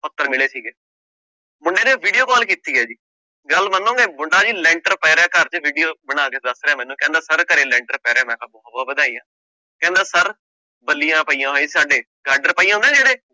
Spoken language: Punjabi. ਪੱਤਰ ਮਿਲੇ ਸੀਗੇ, ਮੁੰਡੇ ਨੇ video call ਕੀਤੀ ਹੈ ਜੀ, ਗੱਲ ਮੰਨੋਗੇ ਮੁੰਡਾ ਜੀ ਲੈਂਟਰ ਪੈ ਰਿਹਾ ਘਰ ਚ video ਬਣਾ ਕੇ ਦੱਸ ਰਿਹਾ ਮੈਨੂੰ ਕਹਿੰਦਾ ਸਰ ਘਰੇ ਲੈਂਟਰ ਪੈ ਰਿਹਾ ਮੈਂ ਕਿਹਾ ਬਹੁ ਬਹੁ ਵਧਾਈਆਂ, ਕਹਿੰਦਾ ਸਰ ਬਲੀਆਂ ਪਈਆਂ ਹੋਈਆਂ ਸੀ ਗਾਡਰ ਜਿਹੜੇ